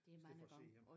I stedet for at sidde hjemme